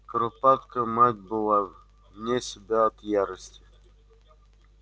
куропатка мать была в не себя от ярости